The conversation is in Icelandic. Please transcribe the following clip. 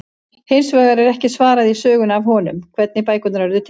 Hins vegar er því ekki svarað í sögunni af honum, hvernig bækurnar urðu til!?